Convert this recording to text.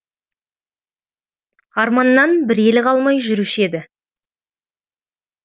арманнан бір елі қалмай жүруші еді